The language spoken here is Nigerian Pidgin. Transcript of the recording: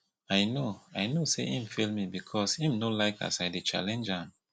i know i know sey im fail me because im no like as i dey challenge am